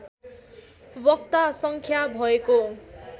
वक्ता सड्ख्या भएको